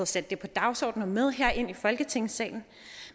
sat det på dagsordenen og herind i folketingssalen